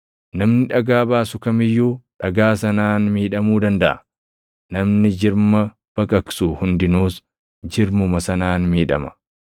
Namni dhagaa baasu kam iyyuu dhagaa sanaan miidhamuu dandaʼa; namni jirma baqaqsu hundinuus jirmuma sanaan miidhama.